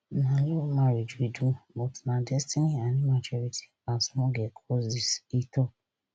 na love marriage we do but na destiny and immaturity as small girl cause dis e tok